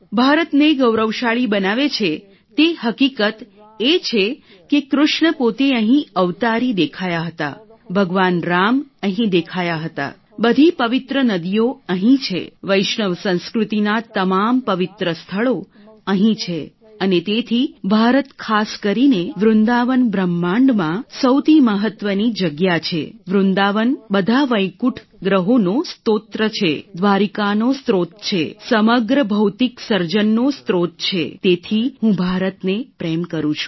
ભારતને ગૌરવશાળી બનાવે છે તે હકીકત એ છે કે કૃષ્ણ પોતે અહીં અવતારી દેખાયા હતા ભગવાન રામ અહીં દેખાયા હતા બધી પવિત્ર નદીઓ અહીં છે વૈષ્ણવ સંસ્કૃતિના તમામ પવિત્ર સ્થળો અહીં છે અને તેથી ભારત ખાસ કરીને વૃંદાવન બ્રહ્માંડમાં સૌથી મહત્વની જગ્યા છે વૃંદાવન બધા વૈકુંઠ ગ્રહોનો સ્ત્રોત છે દ્વારિકાનો સ્રોત છે સમગ્ર ભૌતિક સર્જનનો સ્ત્રોત છે તેથી હું ભારતને પ્રેમ કરું છું